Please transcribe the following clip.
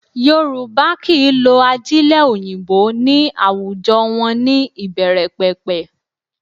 Yorùbá kì í lo ajílẹ̀ òyìnbó ní àwùjọ wọn ní ìbẹ̀rẹ̀pẹ̀pẹ̀